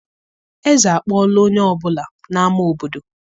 Eze akpọọla onye ọ bụla n'ámá obodo